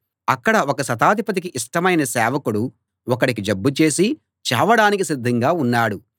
అక్కడ ఒక శతాధిపతికి ఇష్టమైన సేవకుడు ఒకడికి జబ్బు చేసి చావడానికి సిద్ధంగా ఉన్నాడు